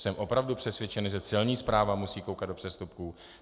Jsem opravdu přesvědčen, že Celní správa musí koukat do přestupků.